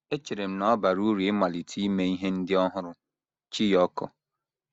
“ Echere m na ọ bara uru ịmalite ime ihe ndị ọhụrụ. ” Chiyoko